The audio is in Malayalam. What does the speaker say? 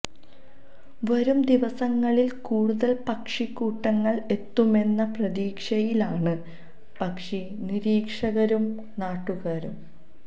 വരും ദിവസങ്ങളില് കൂടുതല് പക്ഷിക്കൂട്ടങ്ങള് എത്തുമെന്ന പ്രതീക്ഷയിലാണ് പക്ഷി നിരീക്ഷകരും നാട്ടുകാരും